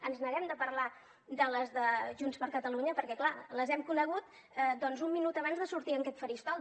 ens neguem a parlar de les de junts per catalunya perquè clar les hem conegut doncs un minut abans de sortir a aquest faristol